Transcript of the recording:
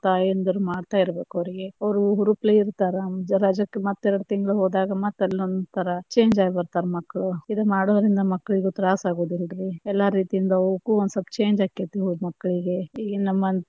ತಾಯಿಂದಿರು ಮಾಡ್ತಾ ಇರಬೇಕು ಅವ್ರಿಗೆ, ಅವ್ರು ಹುರುಪಲೆ ಇರ್ತಾರ ರಜಕ್ಕ ಮತ್ತ ಎರಡ ತಿಂಗಳು ಹೋದಾಗ ಮತ್ತ ಅಲೊಂಥರಾ change ಆಗ್ಬಿಡ್ತಾರ ಮಕ್ಕಳು, ಇದು ಮಾಡೋದ್ರಿಂದ ಮಕ್ಕಳಿಗೂ ತ್ರಾಸ ಅಗುದಿಲ್ಲಾರೀ, ಎಲ್ಲಾ ರೀತಿಯಿಂದ ಅವುಕು ಒಂದ ಸ್ವಲ್ಪ change ಆಕ್ಕೆತಿ ಮಕ್ಕಳಿಗೆ ಈಗ ನಮ್ಮ.